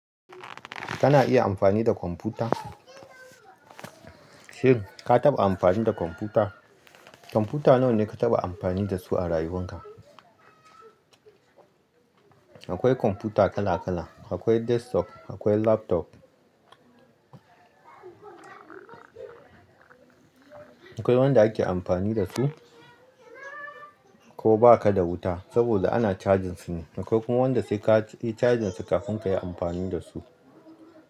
Kana iya amfani da kwamfuta? Shin ka taɓa amfani da kwamfuta? Kwamfuta nawa ne ka taɓa amfani da su a rayuwarka? Akwai kwamfuta kala kala. Akwai desktop, akwai laptop. Akwai wanda ake amfani da su ko ba ka da wuta saboda ana cajin su ne. Akwai kuma wanda sai ka yi cajin su kafin ka yi amfani da su.